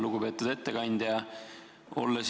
Lugupeetud ettekandja!